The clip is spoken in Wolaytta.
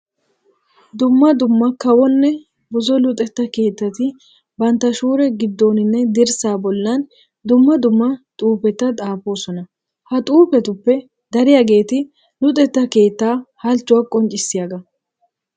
Dumma dumma kawonne buzo luxetta keettati bantta shuure giddooninne dirssaa bollan dumma dumma xuufeta xaafoosona. Ha xuufetuppe dariyageeti luxetta keettaa halchchuwa qonccissiyagaa.